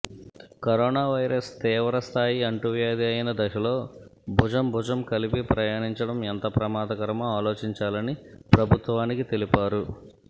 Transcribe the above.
corona virus తీవ్రస్థాయి అంటువ్యాధి అయిన దశలో భుజం భుజం కలిపి ప్రయాణించడం ఎంత ప్రమాదకరమో ఆలోచించాలని ప్రభుత్వానికి తెలిపారు